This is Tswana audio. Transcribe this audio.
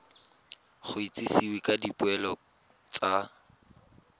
go itsisiwe ka dipoelo tsa